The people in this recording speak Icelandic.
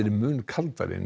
mun kaldari en